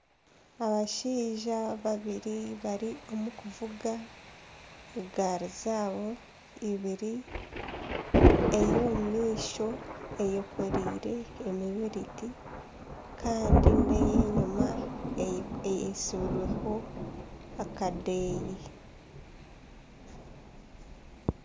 Abashaija babiri bari omu kuvuga egaari zaabo eibiri, ey'omu maisho eyekoreire emibiriti kandi neye nyuma eheekireho akadeeya.